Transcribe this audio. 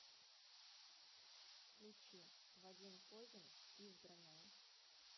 включи вадим козин избранное